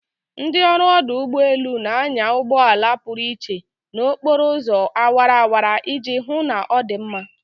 Ndị ọrụ ọdụ ụgbọ elu na-anya ụgbọ ala pụrụ iche na okporo ụzọ awara awara iji hụ na ọ dị mma